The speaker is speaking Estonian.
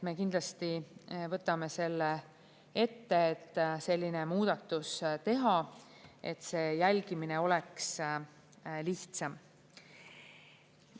Me kindlasti võtame selle ette, et selline muudatus teha, et see jälgimine oleks lihtsam.